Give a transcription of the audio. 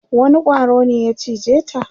wani ƙwaro ne ya cije ta?